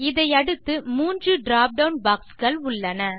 இதை அடுத்து 3 drop down box கள் உள்ளன